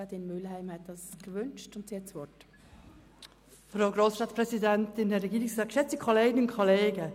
Die Antragstellerin, Grossrätin Mühlheim, hat nochmals das Wort.